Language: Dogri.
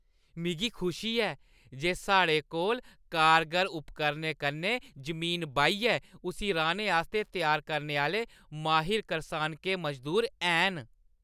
मिगी खुशी ऐ जे साढ़े कोल कारगर उपकरणें कन्नै जमीन बाहियै उस्सी राह्‌ने आस्तै त्यार करने आह्‌ले माहिर करसानके मजदूर हैन।